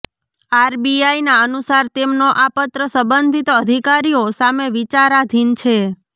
આરબીઆઈના અનુસાર તેમનો આ પત્ર સંબંધિત અધિકારીઓ સામે વિચારાધિન છે